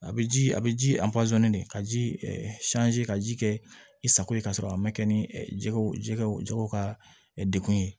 A bɛ ji a bɛ ji de ka ji ɛ ka ji kɛ i sago ye ka sɔrɔ a ma kɛ ni jɛgɛw jɛgɛw jɛgɛw ka degun ye